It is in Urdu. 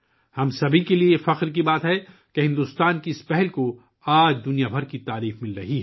یہ ہم سب کے لیے فخر کی بات ہے کہ آج بھارت کے اس اقدام کو دنیا بھر سے پذیرائی مل رہی ہے